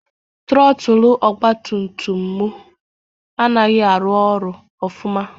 Trọtụlụ ọgbatumtum m anaghị arụ ọrụ ọfụma.